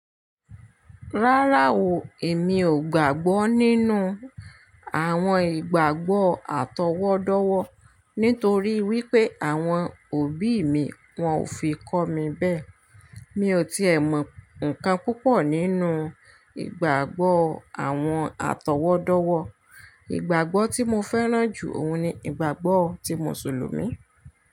Rárá o, èmi ò gbàgbọ́ nínú àwọn ìgbàgbọ́ àtọwọ́dọ́wọ́ nítorí wípé àwọn òbí mi wọn ò fi kọ́ mi bẹ́ẹ̀. Mi ò tíì ẹ mọ ǹkan púpọ̀ nínú ìgbàgbọ́ àwọn àtọwọ́dọ́wọ́. Ìgbàgbọ́ tí mo fẹ́ràn jù òun ni ìgbàgbọ́ ti Mùsùlùmí.